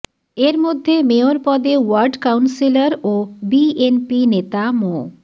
এর মধ্যে মেয়র পদে ওয়ার্ড কাউন্সিলর ও বিএনপি নেতা মো